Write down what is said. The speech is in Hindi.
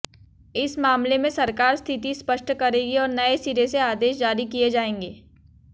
इस मामले में सरकार स्थिति स्पष्ट करेगी और नए सिरे से आदेश जारी किए जाएंगे